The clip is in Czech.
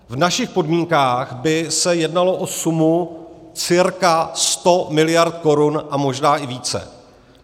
V našich podmínkách by se jednalo o sumu cirka 100 mld. korun a možná i více.